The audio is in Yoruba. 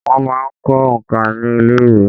Wọ́n máa ń kọ́ òǹkà ní ilé ìwé.